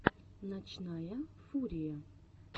ночная фурия